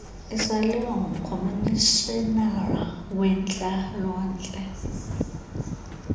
isaliwa ngumkomishinari wentlalontle